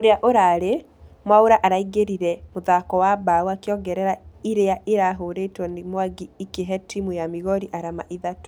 Ũrĩa ũrarĩ.....mwaura araingĩrire mũthako na bao akĩongerera ĩrĩa irahũrĩtwo nĩ mwangi ĩkĩhe timũ ya migori arama ithatũ